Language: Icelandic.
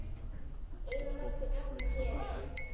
Eina mætti nefna hér.